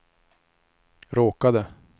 råkade